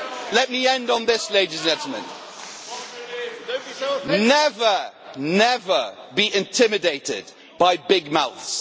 Let me end on this, ladies and gentlemen never be intimidated by big mouths.